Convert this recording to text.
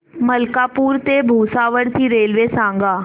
मलकापूर ते भुसावळ ची रेल्वे सांगा